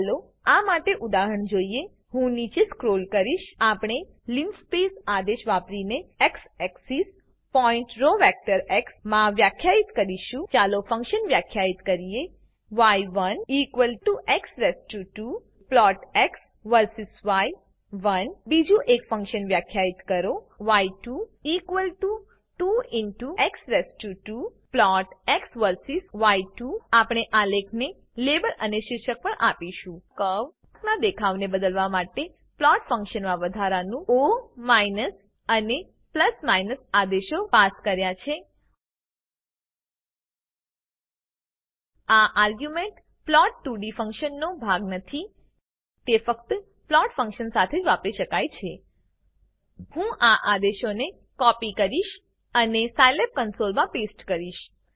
ચાલો આ માટેનું ઉદાહરણ જોઈએ હું નીચે સ્ક્રોલ કરીશ આપણે લિનસ્પેસ આદેશ વાપરીને x axis point row vector x માં વ્યાખ્યાયિત કરીશું ચાલો ફંક્શન વ્યાખ્યાયીત કરીએ ય1 x2 પ્લોટ એક્સ વર્સીસ ય1 બીજું એક ફંક્શન વ્યાખ્યાયીત કરો ય2 2x2 પ્લોટ એક્સ વર્સીસ ય2 આપણે આલેખને લેબલ અને શીર્ષક પણ આપીશું કર્વનાં દેખાવને બદલવા માટે પ્લોટ ફંક્શનમાં વધારાનું ઓ અને આદેશો પાસ કર્યા છે આ આર્ગ્યુંમેંટ plot2ડી ફંક્શનનો ભાગ નથી તે ફક્ત પ્લોટ ફંક્શન સાથે જ વાપરી શકાય છે હું આ આદેશોને કોપી કરીશ અને સાયલેબ કન્સોલમાં પેસ્ટ કરીશ